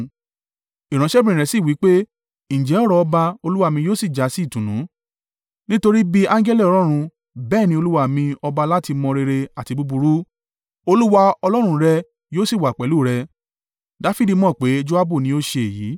“Ìránṣẹ́bìnrin rẹ̀ sì wí pé, ‘Ǹjẹ́ ọ̀rọ̀ ọba olúwa mi yóò sì jásí ìtùnú; nítorí bí angẹli Ọlọ́run bẹ́ẹ̀ ni olúwa mi ọba láti mọ rere àti búburú: Olúwa Ọlọ́run rẹ yóò sì wà pẹ̀lú rẹ.’ ”